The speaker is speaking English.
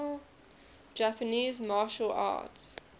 japanese martial arts